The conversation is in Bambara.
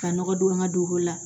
Ka nɔgɔ don an ka dugu la